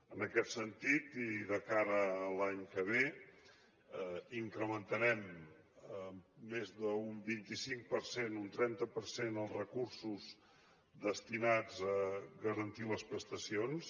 en aquest sentit i de cara a l’any que ve incrementarem en més d’un vint cinc per cent un trenta per cent els recursos destinats a garantir les prestacions